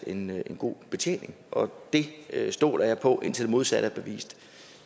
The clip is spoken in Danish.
en god betjening og det stoler jeg på indtil det modsatte er bevist